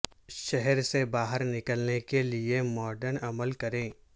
شہر سے باہر نکلنے کے لئے مارٹن عمل کریں